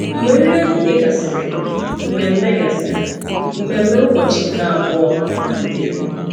Mgbe nri ehihie gasịrị, mmemme gasịrị, mmemme ụbọchị nke abụọ malitere.